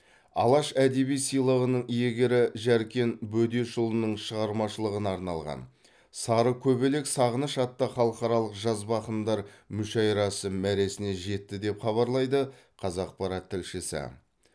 алаш әдеби сыйлығының иегері жәркен бөдешұлының шығармашылығына арналған сарыкөбелек сағыныш атты халықаралық жазба ақындар мүшәйрасы мәресіне жетті деп хабарлайды қазақпарат тілшісі